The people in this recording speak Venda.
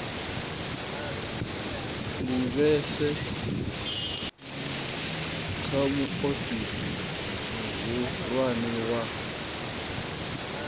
livhise kha muofisi muhulwane wa